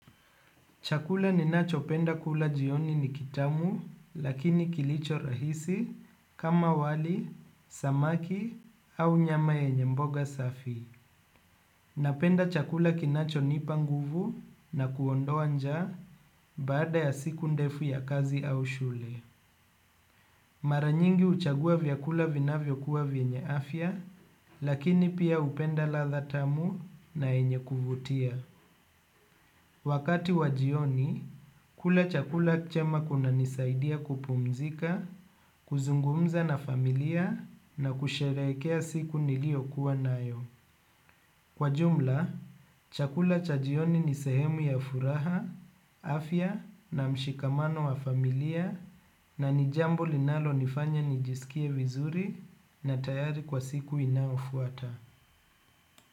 Chakula ninacho penda kula jioni ni kitamu lakini kilicho rahisi kama wali, samaki au nyama yenye mboga safi. Napenda chakula kinacho nipa nguvu na kuondoa nja baada ya siku ndefu ya kazi au shule. Mara nyingi huchagua vyakula vinavyo kuwa vyenye afya lakini pia hupenda latha tamu na yenye kuvutia. Wakati wa jioni kula chakula chema kunanisaidia kupumzika, kuzungumza na familia na kusherekea siku niliyo kuwa nayo. Kwa jumla, chakula chajioni nisehemu ya furaha, afya na mshikamano wa familia na nijambo linalo nifanya nijisikie vizuri na tayari kwa siku inayofuata.